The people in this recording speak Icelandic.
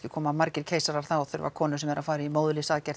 koma margir keisarar þá þurfa konur sem eru að fara í